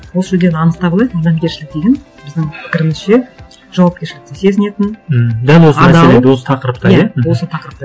осы жерден анықтап алайық адамгершілік деген біздің пікірімізше жауапкершілікті сезінетін м дәл осы осы тақырыпта иә осы тақырыпта